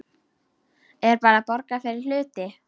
Er bara borgað fyrir hluti?